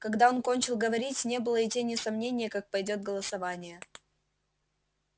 когда он кончил говорить не было и тени сомнения как пойдёт голосование